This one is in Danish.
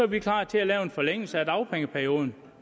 vi klar til at lave en forlængelse af dagpengeperioden